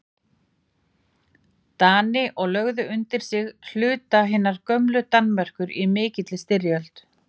Dani og lögðu undir sig hluta hinnar gömlu Danmerkur í mikilli styrjöld